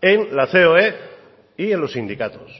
en la coe y en los sindicatos